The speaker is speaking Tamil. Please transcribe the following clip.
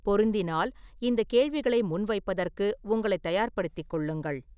பொருந்தினால் இந்தக் கேள்விகளை முன்வைப்பதற்கு உங்களைத் தயார்படுத்திக் கொள்ளுங்கள்.